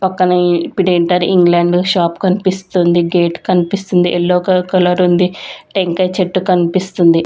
పక్కనే ఇన్ఫిడెంటర్ England shop కన్పిస్తుంది గేట్ కన్పిస్తుంది ఎల్లో గ కలరుంది టెంకాయ చెట్టు కన్పిస్తుంది.